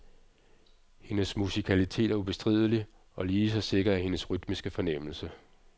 Hendes musikalitet er ubestridelig, og lige så sikker er hendes rytmiske fornemmelse.